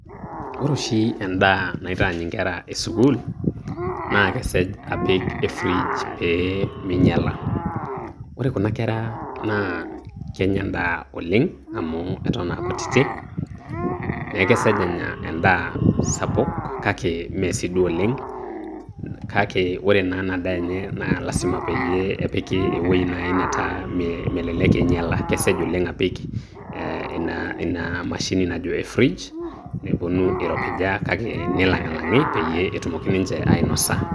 Ore oshi endaa naitaany inkera e sukuul, naa kesej apik e fridge peminyala. Ore kuna kera naa kenya endaa oleng' amu eton aa kutitik, neeku kesej enya endaa sapuk kake mesiduo oleng',kake ore naa enadaa enye na lasima peyiee epiki ewueji nai netaa melelek einyala. Kesej oleng' apik eh ina mashini najo e fridge ,peponu iropija kake nilang'ilang'i peyie etumoki ninche ainosa.